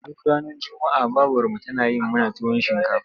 Duk ranar juma'a babarmu tana yi mana tuwon shinkafa.